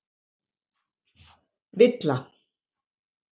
Villa